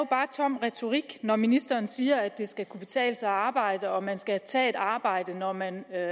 tom retorik når ministeren siger at det skal kunne betale sig at arbejde og man skal tage et arbejde når man er